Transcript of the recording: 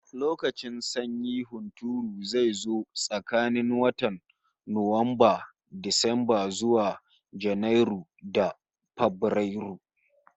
Lokacin sanyin hunturu zai zo tsakanin watan Nuwamba, Disamba, zuwa Janairu da Fabrairu